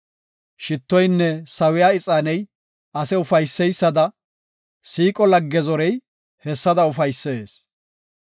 Shittoynne sawiya ixaaney ase ufayseysada siiqo lagge zorey hessada ufaysees.